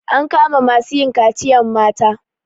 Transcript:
An kama masu yin kaciyan mata.